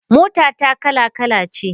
Motata kala kala ce.